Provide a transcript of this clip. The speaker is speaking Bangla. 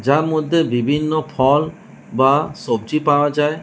যার মদ্যে বিভিন্ন ফল বা সবজি পাওয়া যায়।